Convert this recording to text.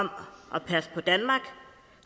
at passe på danmark